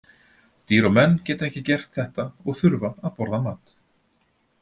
Dýr og menn geta ekki gert þetta og þurfa að borða mat.